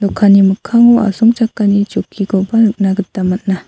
dokanni mikkango asongchakani chokkikoba nikna gita man·a.